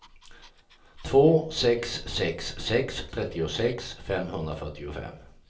två sex sex sex trettiosex femhundrafyrtiofem